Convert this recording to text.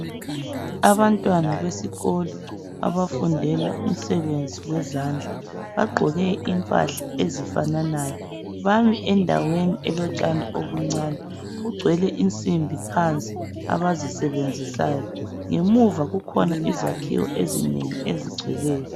Abantwana besikolo abafundela umsebenzi wezandla. Bagqoke impahla ezifananayo. Bami endaweni elotshani obuncane. Kugcwele insimbi phansi abazisebenzisayo. Ngemuva kukhona izakhiwo ezinengi ezigcweleyo.